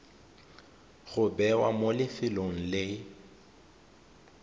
go bewa mo lefelong le